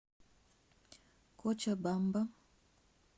кочабамба